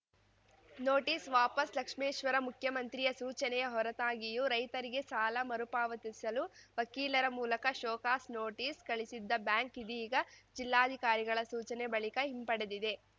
notice ವಾಪಸ್‌ ಲಕ್ಷ್ಮೇಶ್ವರ ಮುಖ್ಯಮಂತ್ರಿಯ ಸೂಚನೆಯ ಹೊರತಾಗಿಯೂ ರೈತರಿಗೆ ಸಾಲ ಮರುಪಾವತಿಸಲು ವಕೀಲರ ಮೂಲಕ ಶೋಕಾಸ್‌ ನೋಟಿಸ್‌ ಕಳಿಸಿದ್ದ ಬ್ಯಾಂಕ್‌ ಇದೀಗ ಜಿಲ್ಲಾಧಿಕಾರಿಗಳ ಸೂಚನೆ ಬಳಿಕ ಹಿಂಪಡೆದಿದೆ